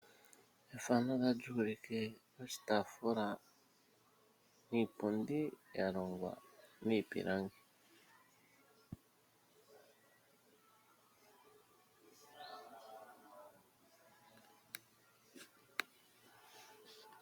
Efano otali ulike oshitaafula niipundi ya longwa miipilangi.